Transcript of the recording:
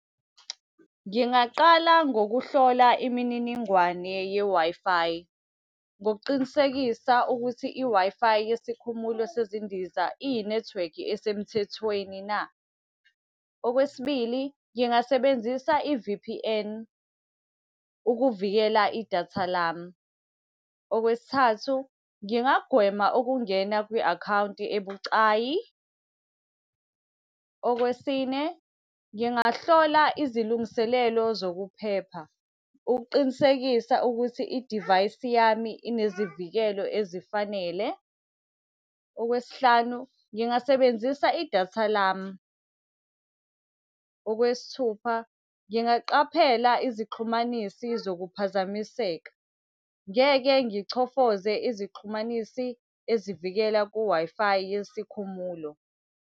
Ngingaqala ngokuhlola imininingwane ye-Wi-Fi. Ngokuqinisekisa ukuthi i-Wi-Fi yesikhumulo sezindiza iyinethiwekhi esemthethweni na. Okwesibili, ngingasebenzisa i-V_P_N, ukuvikela idatha lami. Okwesithathu, ngingagwema ukungena kwi-akhawunti ebucayi. Okwesine, ngingahlola izilungiselelo zokuphepha, ukuqinisekisa ukuthi idivayisi yami inezivikelo ezifanele. Okwesihlanu ngingasebenzisa idatha lami. Okwesithupha, ngingaqaphela izixhumanisi zokuphazamiseka, ngeke ngichofoze izixhumanisi ezivikela ku-Wi-Fi yesikhumulo.